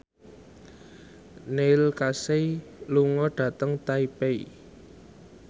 Neil Casey lunga dhateng Taipei